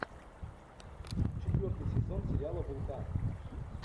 четвертый сезон сериала вулкан